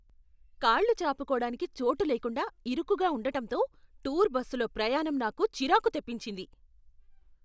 కాళ్లు చాపుకోడానికి చోటు లేకుండా, ఇరుకుగా ఉండటంతో, టూర్ బస్సులో ప్రయాణం నాకు చిరాకు తెప్పించింది.